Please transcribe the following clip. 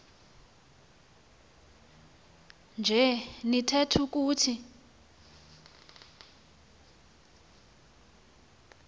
nje nitheth ukuthi